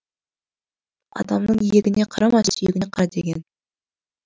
адамның иегіне қарама сүйегіне кара деген